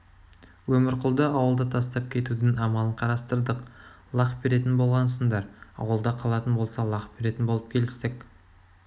өмірқұлды ауылда тастап кетудің амалын қарастырдық лақ беретін болғансыңдар ауылда қалатын болса лақ беретін болып келістік